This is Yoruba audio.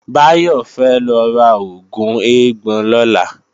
Báyọ̀ fẹ́ lọ ra oògùn eégbọn lọ́la